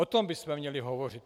O tom bychom měli hovořit.